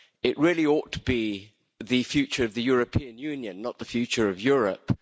It really ought to be the future of the European Union', not the future of Europe'.